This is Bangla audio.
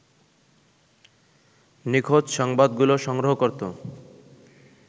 নিখোঁজ সংবাদগুলো সংগ্রহ করত